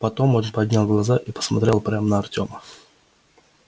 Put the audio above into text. потом он поднял глаза и посмотрел прямо на артема